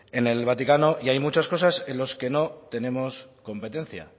en el vaticano y hay muchas cosas en las que no tenemos competencia